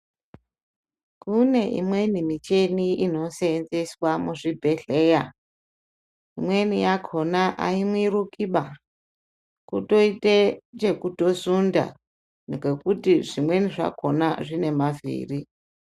Kune imweni micheni inoseenzeswa muzvibhedhleya. Imweni yakona haimirukiba, kutoite chekutosunda ngekuti zvimweni zvakona zvine mavhiri.